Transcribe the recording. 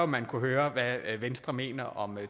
man kunne høre hvad venstre mener om